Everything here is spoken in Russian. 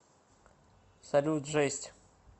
салют жесть